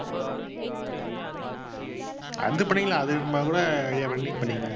அது பண்ணிக்கலாம் அது நம்ம கூட idea பண்ணி பண்ணிக்கலாம்